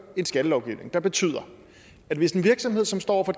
en skattelovgivning der betyder at hvis en virksomhed som står over for